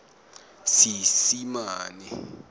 seesimane